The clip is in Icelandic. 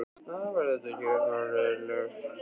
Væri það ekki hagræðing, ef þú sæir um hana hjálparlaust?